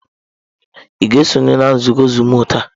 Ị ga-esonye na nzukọ zuumu taa?